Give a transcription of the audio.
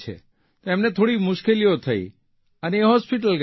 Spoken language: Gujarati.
તો એમને થોડીક મુશ્કેલીઓ થઇ અને તે હોસ્પીટલ ગયા